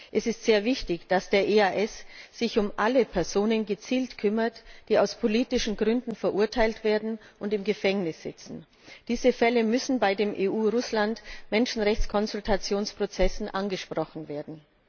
Es ist sehr wichtig, dass der EAS sich gezielt um alle Personen kümmert, die aus politischen Gründen verurteilt werden und im Gefängnis sitzen. Diese Fälle müssen bei den EU Russland Menschenrechtskonsultationsprozessen angesprochen werden.